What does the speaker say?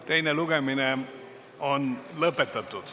Teine lugemine on lõpetatud.